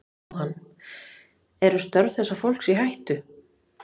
Jóhann: Eru störf þessa fólks í hættu?